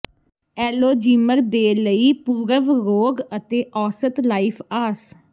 ਐਲੋਜੀਮਰ ਦੇ ਲਈ ਪੂਰਵ ਰੋਗ ਅਤੇ ਔਸਤ ਲਾਈਫ ਆਸ